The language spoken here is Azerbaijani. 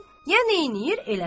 ya nə eləyir eləsin.